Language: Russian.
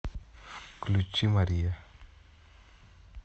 включи мария